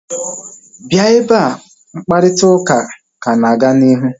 Bịa ebea!mkparịta ụka ka na-aga n'ihu